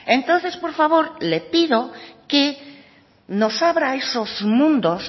entonces por favor le pido que nos abra esos mundos